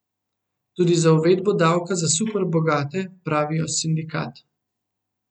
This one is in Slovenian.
Tudi z uvedbo davka za super bogate, pravijo sindikat.